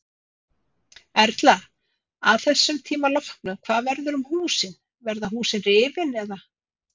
Erla: Að þessum tíma loknum hvað verður um húsin, verða húsin rifin eða?